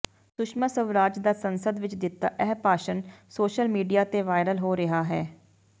ਸੁਸ਼ਮਾ ਸਵਰਾਜ ਦਾ ਸੰਸਦ ਵਿਚ ਦਿੱਤਾ ਇਹ ਭਾਸ਼ਣ ਸੋਸ਼ਲ ਮੀਡਿਆ ਤੇ ਵਾਇਰਲ ਹੋ ਰਿਹਾ ਹੈ